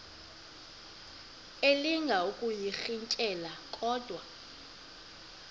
elinga ukuyirintyela kodwa